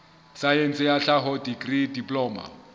saense ya tlhaho dikri diploma